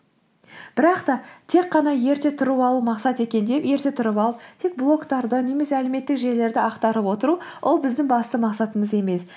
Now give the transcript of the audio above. бірақ та тек қана ерте тұрып алу мақсат екен деп ерте тұрып алып тек блогтарды немесе әлеуметтік желілерді ақтарып отыру ол біздің басты мақсатымыз емес